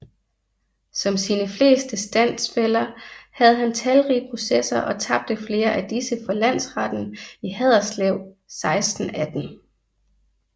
Som sine fleste standsfæller havde han talrige processer og tabte flere af disse for Landretten i Haderslev 1618